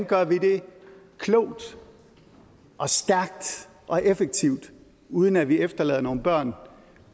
gør det klogt og stærkt og effektivt uden at vi efterlader nogen børn